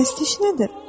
Pərəstiş nədir?